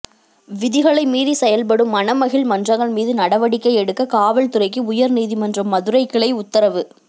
விதிகளை மீறி செயல்படும் மனமகிழ் மன்றங்கள் மீது நடவடிக்கை எடுக்க கலால்துறைக்கு உயர்நீதிமன்ற மதுரைக்கிளை உத்தரவு